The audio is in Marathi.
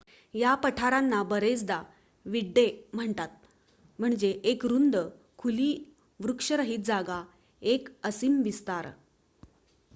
"या पठारांना बरेचदा "विड्डे" म्हणतात म्हणजे एक रुंद खुली वृक्षरहित जागा एक असीम विस्तार.